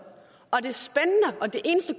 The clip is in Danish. eneste